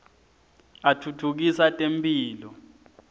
atfutfukisa temphilo